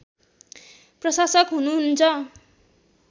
प्रशासक हुनुहुन्छ